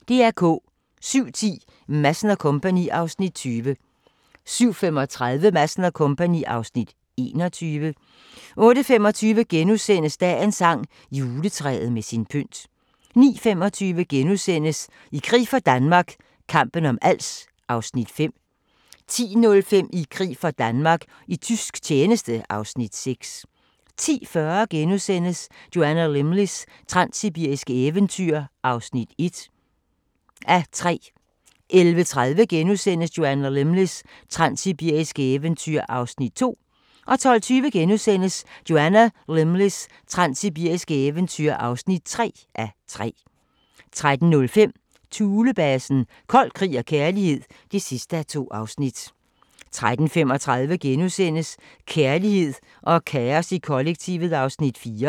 07:10: Madsen & Co. (Afs. 20) 07:35: Madsen & Co. (Afs. 21) 08:25: Dagens sang: Juletræet med sin pynt * 09:25: I krig for Danmark – kampen om Als (Afs. 5)* 10:05: I krig for Danmark - i tysk tjeneste (Afs. 6) 10:40: Joanna Lumleys transsibiriske eventyr (1:3)* 11:30: Joanna Lumleys transsibiriske eventyr (2:3)* 12:20: Joanna Lumleys transsibiriske eventyr (3:3)* 13:05: Thulebasen – Kold krig og kærlighed (2:2) 13:35: Kærlighed og kaos i kollektivet (4:6)*